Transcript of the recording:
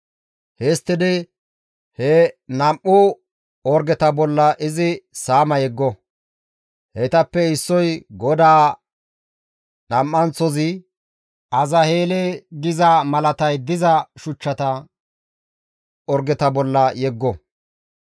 Histtidi he nam7u orgeta bolla izi saama yeggo; heytappe issoy, ‹GODAA› nam7anththozi, ‹Azazeele› giza malatay diza shuchchata orgeta bolla yeggo.